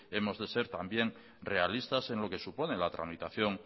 hemos de ser también realistas en lo que supone la tramitación